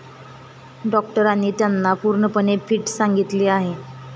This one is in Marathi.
डॉक्टरांनी त्यांना पूर्णपणे फिट सांगितले आहे.